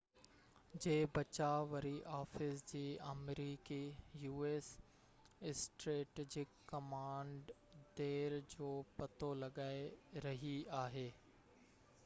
u.s. جي بچاءُ وري آفيس جي آمريڪي اسٽريٽجڪ ڪمانڊ ڍير جو پتو لڳائي رهي آهي